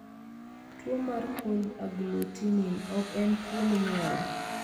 Tuwo mar cold agglutinin ok en tuwo minyuolo.